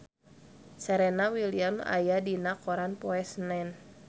Serena Williams aya dina koran poe Senen